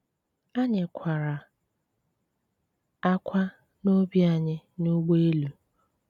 Anyị̀ kwàrà ákwá n’ọ́bì anyị n’ụ̀gbọ̀elù.